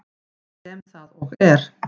Sem það og er.